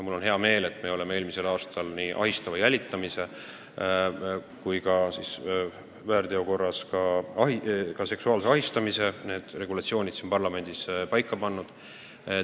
Mul on hea meel, et me saime eelmisel aastal nii ahistava jälitamise kui ka seksuaalse ahistamise väärteo korras karistamise regulatsiooni siin parlamendis paika pandud.